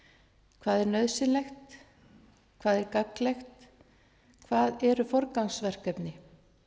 hvað er nauðsynlegt hvað er gagnlegt hvað er forgangsverkefni